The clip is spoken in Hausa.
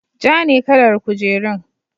Ja ne kalar kujerun.